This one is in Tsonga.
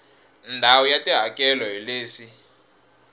ndhawu ya tihakelo hi leswi